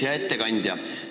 Hea ettekandja!